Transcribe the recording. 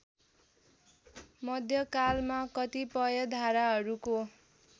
मध्यकालमा कतिपय धाराहरूको